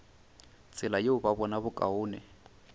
tsela yeo ba bona bokaone